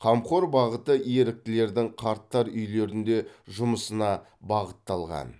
қамқор бағыты еріктілердің қарттар үйінде жұмысына бағытталған